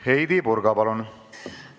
Heidy Purga, palun!